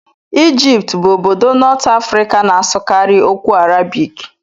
Egypt bụ obodo North Africa na-asụkarị okwu Arabik.